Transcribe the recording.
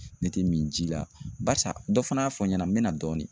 Ne tɛ min ji la barisa dɔ fana y'a fɔ n ɲɛna n bɛ na dɔɔni.